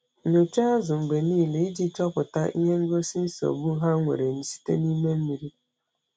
Nyocha azụ mgbe niile iji chọpụta ihe ngosi nsogbu ha nwere site n’ime mmiri.